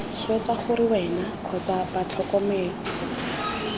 swetsa gore wena kgotsa batlhokomelwa